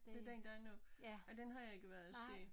Den den der er nu ej den har jeg ikke været og se